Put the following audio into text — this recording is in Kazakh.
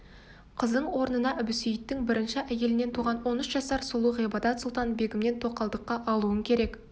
қызың орнына әбусейіттің бірінші әйелінен туған он үш жасар сұлу ғибадат-сұлтан-бегімін тоқалдыққа алуың керек